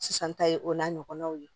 Sisan ta ye o n'a ɲɔgɔnnaw ye